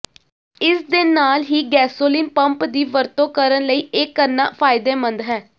ਇਸਦੇ ਨਾਲ ਹੀ ਗੈਸੋਲੀਨ ਪੰਪ ਦੀ ਵਰਤੋਂ ਕਰਨ ਲਈ ਇਹ ਕਰਨਾ ਫਾਇਦੇਮੰਦ ਹੈ